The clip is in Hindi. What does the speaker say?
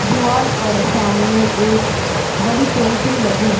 दीवार पर सामने एक बड़ी पेंटिंग लगी है।